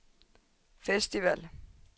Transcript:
festival